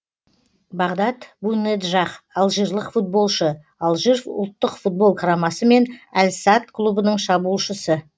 бағдад бунеджах алжирлік футболшы алжир ұлттық футбол құрамасы мен әл садд клубының шабуылшысы